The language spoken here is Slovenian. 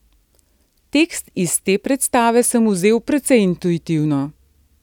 Tekst iz te predstave sem vzel precej intuitivno.